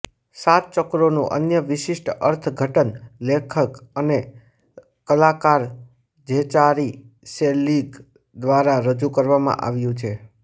સાત ચક્રોનું અન્ય વિશિષ્ટ અર્થઘટન લેખક અને કલાકાર ઝેચારી સેલીગ દ્વારા રજૂ કરવામાં આવ્યું છે